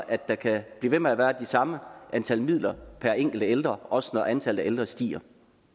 at der kan blive ved med at være de samme antal midler per enkelte ældre også når antallet af ældre stiger